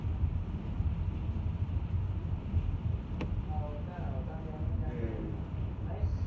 ਆਹੋ ਭੈਣਾਂ ਓਦਾਂ ਵਿਹਾਈਆਂ ਕ ਨਹੀਂ ਹਮ